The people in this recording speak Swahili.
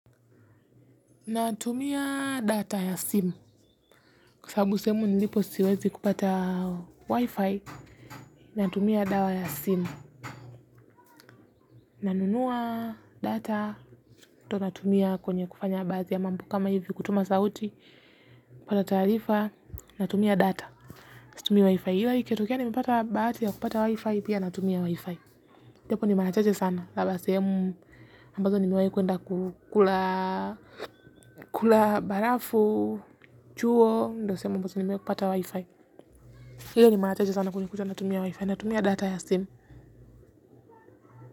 Natumia data ya simu, kwasababu sehemu nilipo siwezi kupata wifi, natumia dawa ya simu, nanunua data, to natumia kwenye kufanya baathi ya mambo kama hivi kutuma sauti, kupata taarifa, natumia data, situmii wifi, ila ikitokea nimepata bahati ya kupata wifi, pia natumia wifi. Jopo ni marachache sana. Labda sehemu ambazo nimewai kwenda kukula barafu, chuo. Ndio sehemu nimewai kupata wifi. Hilo ni marachache sana kunikucha na tumia wifi, na tumia data ya sim.